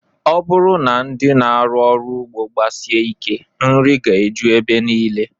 Ọ bụrụ na ndị na-arụ ọrụ ugbo gbasie ike, nri ga-eju ebe niile